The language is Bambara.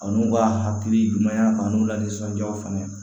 A n'u ka hakili ɲumanya a n'u la nisɔndiyaw fana